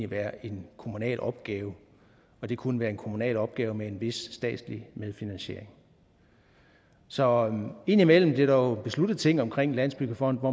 være en kommunal opgave og det kunne være en kommunal opgave med en vis statslig medfinansiering så indimellem bliver der jo besluttet ting omkring landsbyggefonden